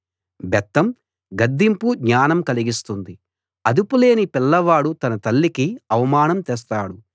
బెత్తం గద్దింపు జ్ఞానం కలిగిస్తుంది అదుపులేని పిల్లవాడు తన తల్లికి అవమానం తెస్తాడు